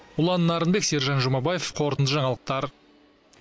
ұлан нарынбек сержан жұмабаев қорытынды жаңалықтар